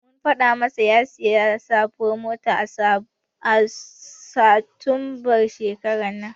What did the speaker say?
Mun faɗa masa ya sayi sabuwar mota a satumbar shekarar nan.